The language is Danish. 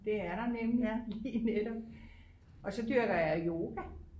Det er der nemlig lige netop og så dyrker jeg yoga